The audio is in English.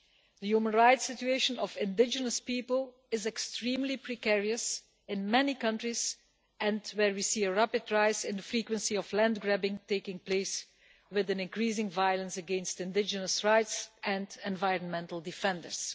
The human rights situation of indigenous people is extremely precarious in many countries and we see a rapid rise in the incidence of land grabbing, with increasing violence against indigenous rights and environmental defenders.